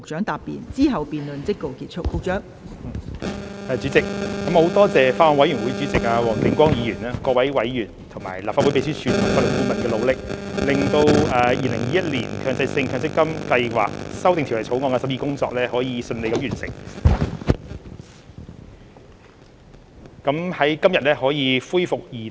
代理主席，我感謝法案委員會主席黃定光議員、各位委員，以及立法會秘書處和法律顧問的努力，令《2021年強制性公積金計劃條例草案》的審議工作得以順利完成，今日可以恢復二讀。